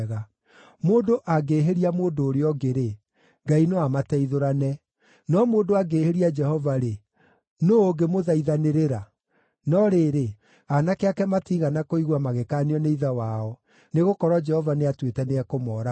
Mũndũ angĩhĩria mũndũ ũrĩa ũngĩ-rĩ, Ngai no amateithũrane; no mũndũ angĩhĩria Jehova-rĩ, nũũ ũngĩmũthaithanĩrĩra?” No rĩrĩ, aanake ake matiigana kũigua magĩkaanio nĩ ithe wao, nĩgũkorwo Jehova nĩatuĩte nĩekũmooraga.